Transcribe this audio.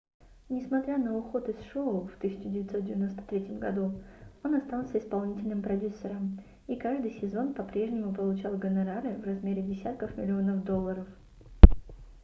несмотря на уход из шоу в 1993 году он остался исполнительным продюсером и каждый сезон по-прежнему получал гонорары в размере десятков миллионов долларов